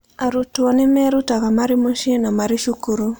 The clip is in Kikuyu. Arutwo nĩ merutaga marĩ mũciĩ na marĩ cukuru.